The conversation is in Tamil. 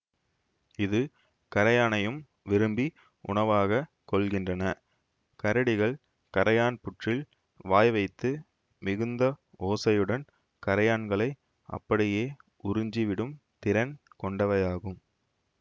இது கரையானையும் விரும்பி உணவாகக் கொள்கின்றன கரடிகள் கரையான் புற்றில் வாய் வைத்து மிகுந்த ஓசையுடன் கரையான்களை அப்படியே உறிஞ்சிவிடும் திறன் கொண்டவையாகும்